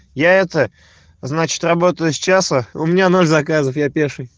я это значит работаю с часа у меня ноль заказов я пеший